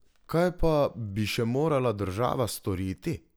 Kaj pa bi še morala država storiti?